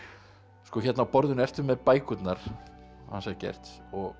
sko hérna á borðinu ertu með bækurnar hans Eggerts